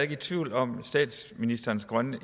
i tvivl om statsministerens grønne